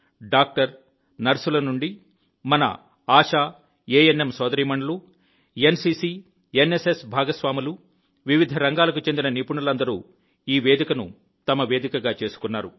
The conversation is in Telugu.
డాక్టర్ నర్సుల నుండి మన ఆషా ఏఎన్ఎం సోదరీమణులు ఎన్సీసీ ఎన్ఎస్ఎస్ భాగస్వాములు వివిధ రంగాలకు చెందిన నిపుణులందరూ ఈ వేదికను తమ వేదికగా చేసుకున్నారు